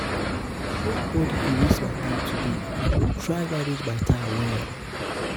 nobodi go waste my time today i go try manage my time well.